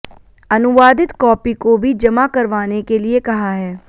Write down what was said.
अनुवादित कॉपी को भी जमा करवाने के लिए कहा है